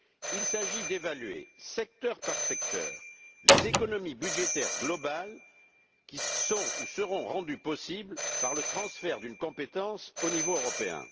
Il s'agit d'évaluer, secteur par secteur, les économies budgétaires globales qui sont ou seront rendues possibles par le transfert d'une compétence au niveau européen.